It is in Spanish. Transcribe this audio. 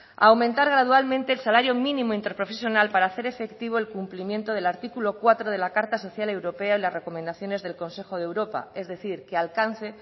a aumentar gradualmente el salario mínimo interprofesional para hacer efectivo el cumplimiento del artículo cuatro de la carta social europea y las recomendaciones del consejo de europa es decir que alcance